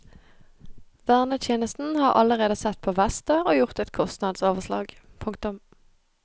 Vernetjenesten har allerede sett på vester og gjort et kostnadsoverslag. punktum